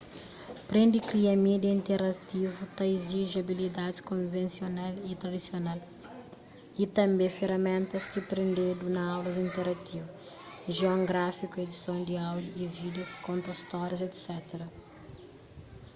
prende kria mídia interativu ta iziji abilidaids konvensional y tradisional y tanbê feraméntas ki prendedu na aulas interativu gion gráfiku edison di áudiu y vídiu konta stórias etc.